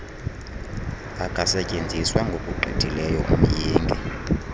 akasetyenziswa ngokugqithileyo umyinge